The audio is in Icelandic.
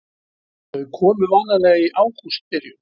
Þau komu vanalega í ágústbyrjun.